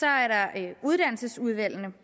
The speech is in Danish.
er der uddannelsesudvalgene